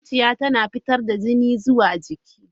Zuciya tana fitar da jini zuwa jiki.